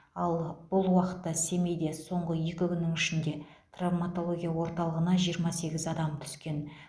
ал бұл уақытта семейде соңғы екі күннің ішінде травматология орталығына жиырма сегіз адам түскен